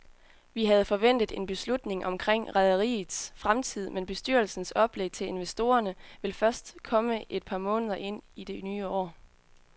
Vi havde forventet en beslutning omkring rederiets fremtid, men bestyrelsens oplæg til investorerne vil først komme et par måneder ind i det nye år.